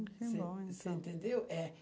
Você você entendeu? É